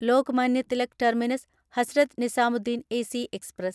Lokmanya Tilak terminus Hazrat Nizamuddin AC express